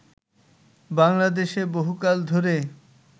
বাংলাদেশে বহুকাল ধরে